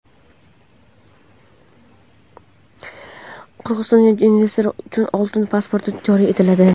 Qirg‘izistonda investorlar uchun "oltin pasport" joriy etiladi.